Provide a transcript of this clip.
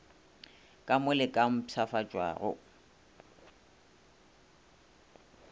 ka mo le ka mpshafatšwago